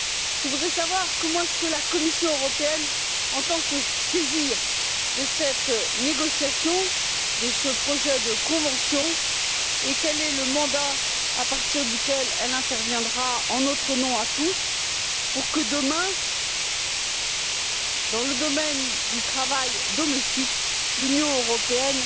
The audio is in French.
Je voudrais savoir comment la Commission européenne entend se saisir de cette négociation, de ce projet de convention, et à partir de quel mandat elle interviendra en notre nom à tous pour que demain, dans le domaine du travail domestique, l'Union européenne